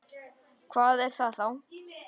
Hvað er það þá?